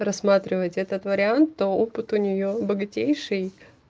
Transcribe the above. рассматривать этот вариант то опыт у неё богатейший